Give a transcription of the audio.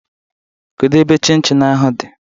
Kedu ebe chin chin ahụ dị?